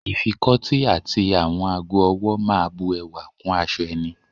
Ìfikọ́tí àti àwọn ago-ọwọ́ máa bu ẹwà kún aṣọ ẹni.